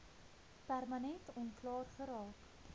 permanent onklaar geraak